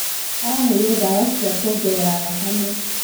Araheirwo ndawa cia kwongerera thakame.